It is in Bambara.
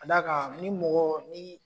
K'a da kan ni mɔgɔ ni